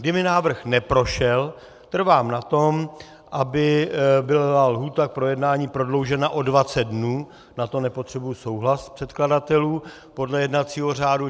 Kdyby návrh neprošel, trvám na tom, aby byla lhůta k projednání prodloužena o 20 dnů, na to nepotřebuji souhlas předkladatelů podle jednacího řádu.